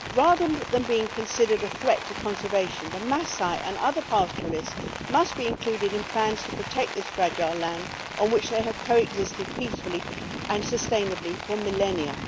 Rather than being considered a threat to conservation, the Masai and other pastoralists must be included in plans to protect this fragile land on which they have co existed peacefully and sustainably for millennia.